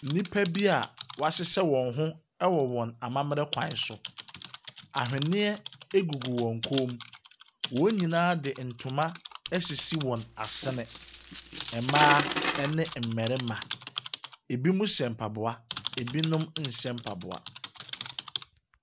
Nnipa bi wɔahyehyɛ wɔn ho wɔ wɔn amammerɛ kwan so. Aweneɛ gugu wɔn kɔn mu. Wɔn nyinaa fe ntoma asisi wɔn asene. Mmaa ne mmarima. Binom hyɛ mpaboa, binom nhyɛ mpaboa.